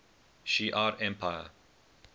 shi ar empire